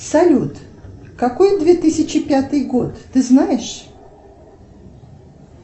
салют какой две тысячи пятый год ты знаешь